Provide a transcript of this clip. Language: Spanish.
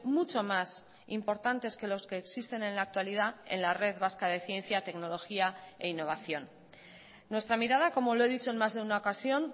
mucho más importantes que los que existen en la actualidad en la red vasca de ciencia tecnología e innovación nuestra mirada como lo he dicho en más de una ocasión